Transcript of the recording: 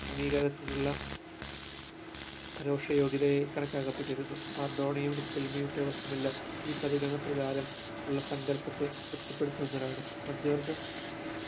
അംഗീകാരത്തിലുള്ള പരോക്ഷ യോഗ്യത കണക്കാക്കപ്പെട്ടിരുന്നു മറഡോണയെ യുദാകൽ ഈ പരിഗണന പ്രകാരം ഉള്ള സങ്കല്പത്തെ ത്രിപ്തിപെടുത്തുന്നതിനാണ്